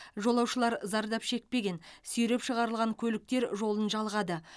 жолаушылар зардап шекпеген сүйреп шығарылған көліктер жолын жалғады